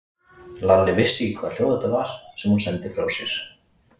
Lalli vissi ekki hvaða hljóð þetta var sem hún sendi frá sér.